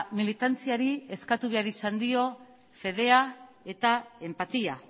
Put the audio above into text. militantziari eskatu behar izan dio fedea eta enpatia